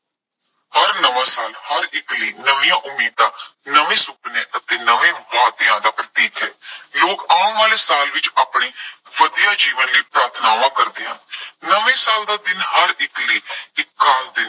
ਹਰ ਨਵਾਂ ਸਾਲ ਹਰ ਇੱਕ ਲਈ ਨਵੀਆਂ ਉਮੀਦਾਂ, ਨਵੇਂ ਸੁਪਨੇ ਅਤੇ ਨਵੇਂ ਵਾਅਦਿਆਂ ਦਾ ਪ੍ਰਤੀਕ ਹੈ। ਲੋਕ ਆਉਣ ਵਾਲੇ ਸਾਲ ਵਿੱਚ ਆਪਣੀ ਵਧੀਆ ਜੀਵਨ ਲਈ ਪ੍ਰਾਰਥਨਾਵਾਂ ਕਰਦੇ ਹਨ। ਨਵੇਂ ਸਾਲ ਦਾ ਦਿਨ ਹਰ ਇੱਕ ਲਈ ਇੱਕ ਖਾਸ ਦਿਨ